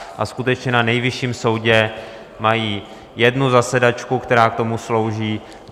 A skutečně na Nejvyšším soudě mají jednu zasedačku, která k tomu slouží.